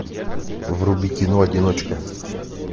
вруби кино одиночка